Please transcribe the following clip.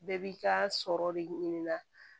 Bɛɛ b'i ka sɔrɔ de ɲini na